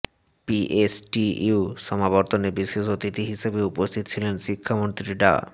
PSTU সমাবর্তনে বিশেষ অতিথি হিসেবে উপস্থিত ছিলেন শিক্ষামন্ত্রী ডা